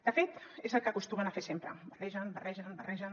de fet és el que acostumen a fer sempre barregen barregen barregen